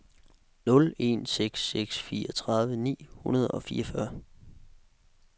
nul en seks seks fireogtredive ni hundrede og fireogfyrre